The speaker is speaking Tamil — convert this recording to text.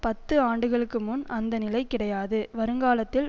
பத்து ஆண்டுகளுக்கு முன் அந்த நிலை கிடையாது வருங்காலத்தில்